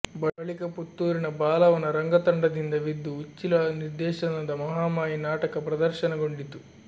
ಬಳಿಕ ಪುತ್ತೂರಿನ ಬಾಲವನ ರಂಗತಂಡದಿಂದ ವಿದ್ದು ಉಚ್ಚಿಲ ನಿರ್ದೇಶನದ ಮಹಾಮಾಯಿ ನಾಟಕ ಪ್ರದರ್ಶನಗೊಂಡಿತು